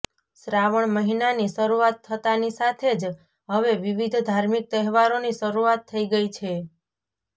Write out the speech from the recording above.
શ્રાવણ મહિનાની શરૂઆત થતાની સાથે જ હવે વિવિધ ધાર્મિક તહેવારોની શરૂઆત થઇ ગઈ છે